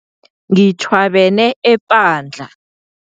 Ngitjhwabene epandla.